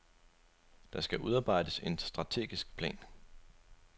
Der skal udarbejdes en strategisk plan.